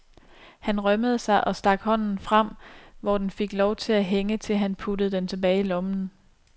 Han rømmede sig og stak hånden frem, hvor den fik lov at hænge til han puttede den tilbage i lommen.